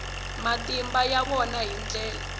matimba ya vona hi ndlela